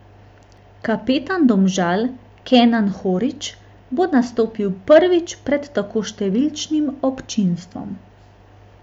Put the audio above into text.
Kapetan Domžal Kenan Horić bo nastopil prvič pred tako številčnim občinstvom.